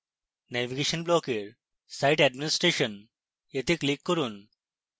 navigation ব্লকের site administration এ click করুন